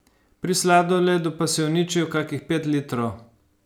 Pri sladoledu pa si uničil kakih pet litrov.